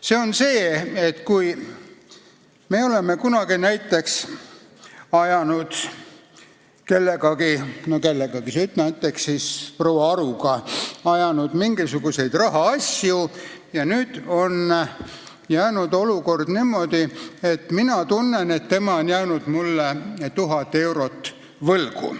Ütleme, et ma olen kunagi ajanud kellegagi – no näiteks proua Aruga – mingisuguseid rahaasju ja nüüd on olukord selline, et mina tunnen, et tema on jäänud mulle 1000 eurot võlgu.